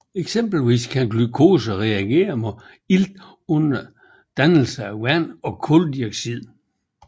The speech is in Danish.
Eksempelvis kan glukose reagere med ilt under dannelse af vand og kuldioxid